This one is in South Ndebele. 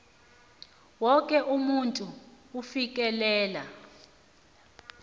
woke umuntu ufikelela